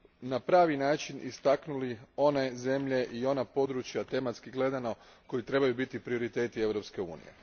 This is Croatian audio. na pravi način istaknuli one zemlje i ona područja koji, tematski gledano, trebaju biti prioriteti Europske unije.